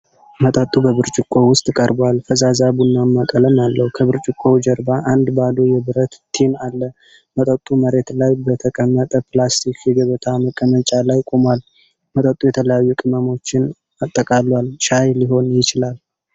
መጠጡ በብርጭቆ ውስጥ ቀርቧል፤ ፈዛዛ ቡናማ ቀለም አለው። ከብርጭቆው ጀርባ አንድ ባዶ የብረት ቲን አለ። መጠጡ መሬት ላይ በተቀመጠ ፕላስቲክ የገበታ መቀመጫ ላይ ቆሟል። መጠጡ የተለያዩ ቅመሞችን አጠቃሏል። ሻይ ሊሆን ይችላል።